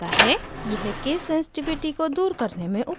यह केससेंस्टिविटी को दूर करने में उपयोग होता है